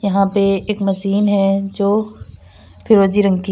यहां पे एक मशीन है जो फिरोजी रंग की--